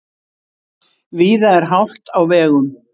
Víða er hált á vegum